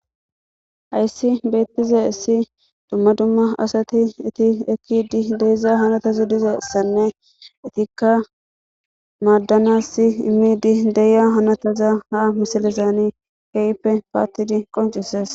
hayssi beettiza issi dumma dumma asati eti ekkidi deeiza hanotaza dizayissanne etikka maaddanass immidi deya hanotaza ha misalizaani keeyppe paattidi qoncises